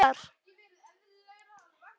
En ég segi þér nánar frá honum síðar.